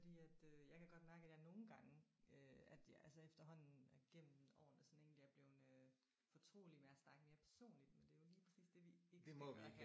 Fordi at øh jeg kan godt mærke at jeg nogle gange øh at jeg altså efterhånden gennem årene sådan egentlig er blevet øh fortrolig med at snakke mere personligt men det er jo lige præcis det vi ikke skal gøre her